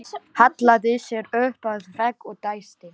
Hallaði sér upp að vegg og dæsti.